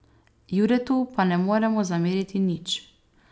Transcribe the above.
Juretu pa ne moremo zameriti nič.